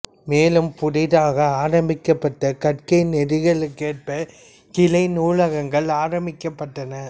மேலும் புதிதாக ஆரம்பிக்கப்பட்ட கற்கை நெறிகளுக்கேற்ப கிளை நூலகங்கள் ஆரம்பிக்கப்பட்டன